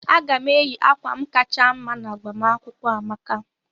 Aga m eyi akwa m kacha mma n'agbamakwụkwọ Amaka.